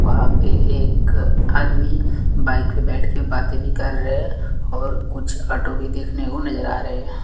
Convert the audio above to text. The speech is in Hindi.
वहाँ पे एक आदमी बाइक पे बैठ के बातें भी कर रहे हैं और कुछ ऑटो भी देखने को नजर आ रहे हैं।